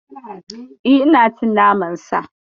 Eh, ina cin naman Sa.